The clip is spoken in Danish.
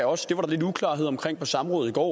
også det var der lidt uklarhed om på samrådet i går